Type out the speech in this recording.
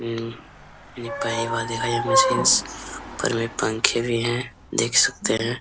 उऽ मैंने पहली बार देखा ये मशीनस ऊपर में पंखे भी है देख सकते हैं।